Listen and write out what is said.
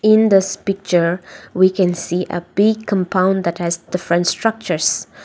in this picture we can see a big compound that has different structures.